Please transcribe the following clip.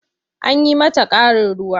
An yi mata ƙarin ruwa.